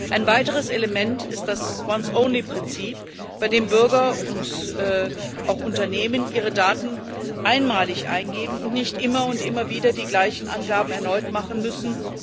Ein weiteres Element ist das once only Prinzip, bei dem Bürger und auch Unternehmen ihre Daten einmalig eingeben und nicht immer und immer wieder die gleichen Angaben erneut machen müssen.